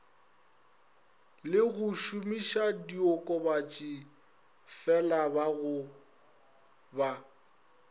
le go šomišadiokobatši felabaga ba